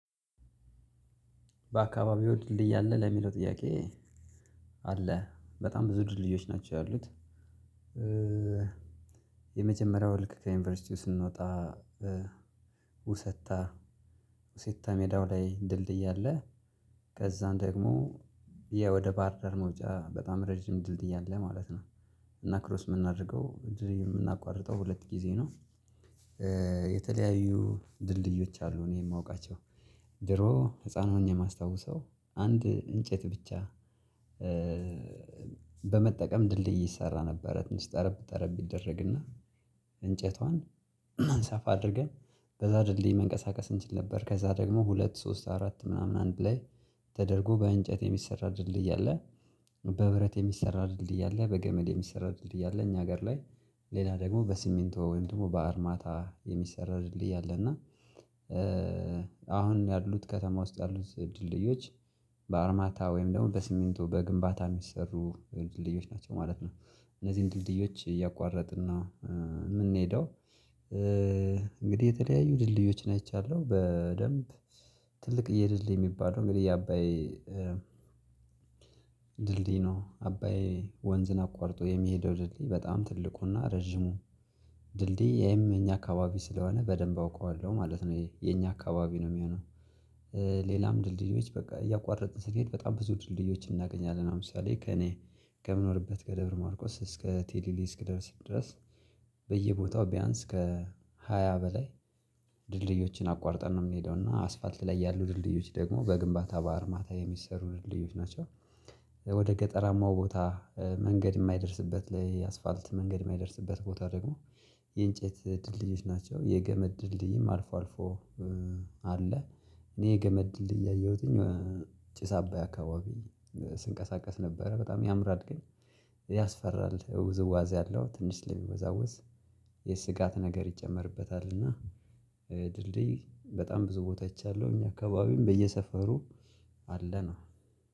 በአካባቢው ድልድይ አለ ለሚለው ጥያቄ አለ በጣም ብዙ ድልድዮች ናቸው ያሉት። የመጀመሪያው ልክ ከዩኒቨርሲቲ ስንወጣ ውሰታ ውሰታ ሜዳው ላይ ድልድይ አለ። ከዛም ደግሞ የወደ ባህር ዳር መውጫ በጣም ረጅም ድልድይ አለ ማለት ነው። እና ክሮስ የምናደርገው የምናቋርጠው ሁለት ጊዜ ነው። የተለያዩ ድልድዮች አሉ እኔ የማውቃቸው። ድሮ ህፃን ሆኜ የማስታውሰው አንድ እንጨት ብቻ። በመጠቀም ድልድይ ይሰራ ነበረ ትንሽ ጠረብ ጠረብ ይደረግና እንጨቷን ሰፋ አድርገን በዛ ድልድል መንቀሳቀስ እንችል ነበር። ከዛ ደግሞ ሁለት ሶስት አራት ምናምን አንድ ላይ ተደርጎ በእንጨት የሚሰራ ድልድይ አለ። በብረት የሚሰራ ድልድይ አለ በገመድ የሚሰራ ድልድይ አለ እኛ ሀገር ላይ ሌላ ደግሞ በሲሚንቶ ወይም ደግሞ በአርማታ የሚሰራ ድልድይ አለ። እና አሁን ያሉት ከተማ ውስጥ ያሉት ድልድዮች በአርማታ ወይም ደግሞ በሲሚንቶ በግንባታ የሚሰሩ ድልድዮች ናቸው ማለት ነው። እነዚህን ድልድዮች እያቋረጥን ነው የምንሄደው። እንግዲህ የተለያዩ ድልድዮች ነው አይቻለሁ በደንብ። ትልቅዬ ድልድይ የሚባለው እንግዲህ የአባይ ድልድይ ነው። አባይ ወንዝን አቋርጦ የሚሄደው ድልድይ በጣም ትልቁና ረጅሙ ድልድይ ይሄም የኛ አካባቢ ስለሆነ በደንብ አውቀዋለሁ ማለት ነው። ይሄ የኛ አካባቢ ነው የሚሆነው። ሌላም ድልድዮች በቃ እያቋረጥን ስንሄድ በጣም ብዙ ድልድዮችን እናገኛለን። ለምሳሌ ከእኔ ከምኖርበት ደብረ ማርቆስ እስከ ቴሌሊሊ እስክደርስ ድረስ በየቦታው ቢያንስ ከ ሃያ በላይ ድልድዮችን አቋርጠን ነው የምንሄደው። እና አስፋልት ላይ ያሉ ድልድዮች ደግሞ በግንባታ በአርማታ የሚሰሩ ድልድዮች ናቸው። ወደ ገጠራማው ቦታ መንገድ የማይደርስበት ላይ አስፋልት መንገድ የማይደርስበት ቦታ ደግሞ የእንጨት ድልድዮች ናቸው የገመድ ድልድይም አልፎ አልፎ አለ። እኔ የገመድ ድልድይ እያየሁትኝ ጭስ አባይ አካባቢ ስንቀሳቀስ ነበረ በጣም ያምራል። ግን ያስፈራል ውዝዋዜ አለው ትንሽ ለሚወዛወዝ የስጋት ነገር ይጨመርበታል። እና ድልድይ በጣም ብዙ ቦታ አይቻለውኝ አካባቢም በየሰፈሩ አለ ነው።